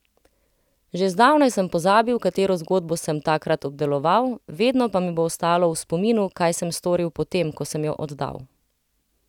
Že zdavnaj sem pozabil, katero zgodbo sem takrat obdeloval, vedno pa mi bo ostalo v spominu, kaj sem storil potem, ko sem jo oddal.